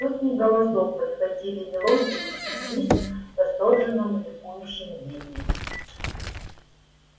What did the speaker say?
сотни голосов подхватили мелодию и слились в восторженном ликующем гимне